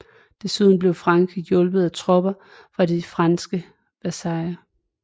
Desuden blev Frankrig hjulpet af tropper fra de franske vasaller